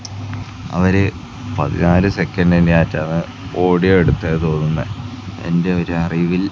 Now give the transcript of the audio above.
അവരെ പതിനായിരം സെക്കന്റ് തന്നെ ആയിട്ടാണ് ഓടി അടുത്തത് തോന്നുന്നെ എന്റെ ഒരു അറിവിൽ--